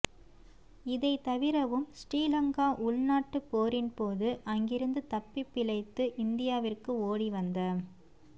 இதைத் தவிரவும் ஸ்ரீலங்கா உள்நாட்டுப் போரின்போது அங்கிருந்து தப்பிப் பிழைத்து இந்தியாவிற்கு ஓடி வந்த